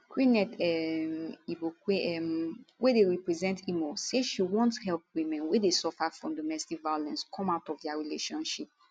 queeneth um igbokwe um wey dey represent imo say she wan help women wey dey suffer from domestic violence come out of dia relationship